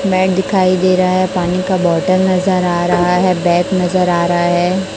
मैंट दिखाई दे रहा है पानी का बोतल नजर आ रहा है बैग नजर आ रहा है।